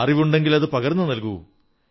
അറിവുണ്ടെങ്കിലതു പകർന്നു നൽകൂ